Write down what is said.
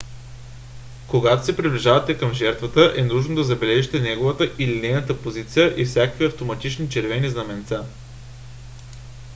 когато се приближавате към жертвата е нужно да забележите неговата или нейната позиция и всякакви автоматични червени знаменца